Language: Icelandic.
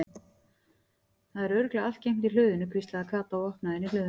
Það er örugglega allt geymt í hlöðunni hvíslaði Kata og opnaði inn í hlöðuna.